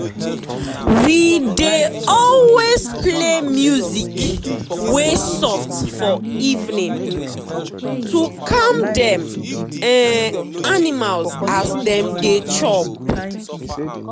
we dey always play music wey soft for evening um to calm dem animal as dem dey chop.